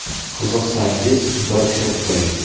Qiziqsangiz, bir kirib ko‘ring!